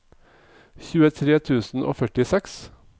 tjuetre tusen og førtiseks